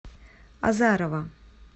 азарова